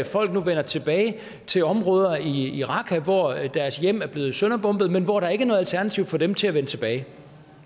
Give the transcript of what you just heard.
folk nu vender tilbage til områder i raqqa hvor deres hjem er blevet sønderbombet men hvor der ikke er noget alternativ for dem til at vende tilbage